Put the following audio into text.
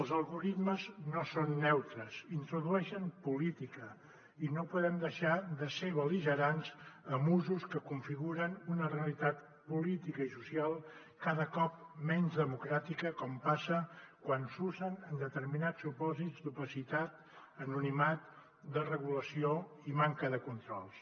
els algoritmes no són neutres introdueixen política i no podem deixar de ser bel·ligerants amb usos que configuren una realitat política i social cada cop menys democràtica com passa quan s’usen en determinats supòsits d’opacitat anonimat desregulació i manca de controls